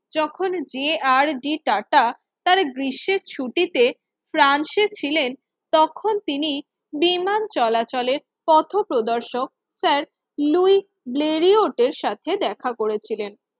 যখন যে R D Tata তার গ্রীষ্মের ছুটিতে ফ্রান্সে ছিলেন তখন তিনি বিমান চলাচলের পথপ্রদর্শক স্যারের লুই ব্ল্যারিও এর সাথে দেখা করেছিলেন।